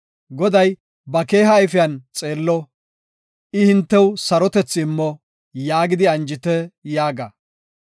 Goday ba keeha ayfiyan xeello; I hintew sarotethi immo’ yaagidi anjite” yaaga.